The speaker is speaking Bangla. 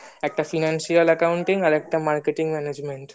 একটা financial accounting আরেকটা marketing managenent